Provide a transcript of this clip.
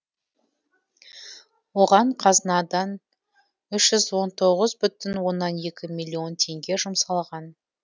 оған қазынадан үш жүз он тоғыз бүтін оннан екі миллион теңге жұмсалған